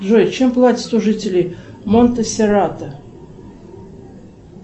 джои чем платят жители монте серато